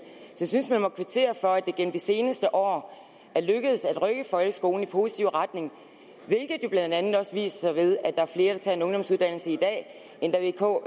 jeg synes man må kvittere for at det gennem de seneste år er lykkedes at rykke folkeskolen i positiv retning hvilket blandt andet også viser sig ved at der er flere der tager en ungdomsuddannelse end da vk